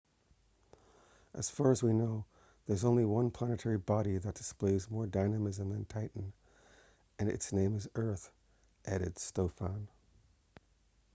as far as we know there is only one planetary body that displays more dynamism than titan and its name is earth added stofan